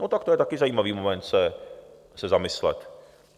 No tak to je taky zajímavý moment se zamyslet.